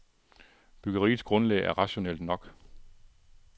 Byggeriets grundlag er rationelt nok.